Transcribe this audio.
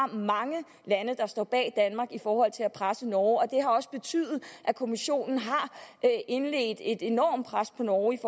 mange lande der står bag danmark i forhold til at presse norge det har også betydet at kommissionen har indledt et enormt pres på norge i